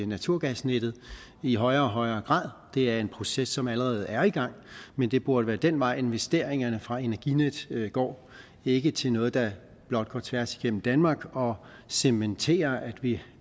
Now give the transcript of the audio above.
naturgasnettet i højere og højere grad det er en proces som allerede er i gang men det burde være den vej investeringerne fra energinet går ikke til noget der blot går tværs igennem danmark og cementerer at vi